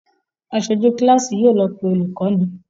Aṣojú kíláàsì yóò lọ pé olùkọ́ni